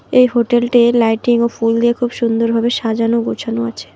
এই হোটেলটির লাইটিং ও ফুল দিয়ে খুব সুন্দরভাবে সাজানো গোছানো আছে।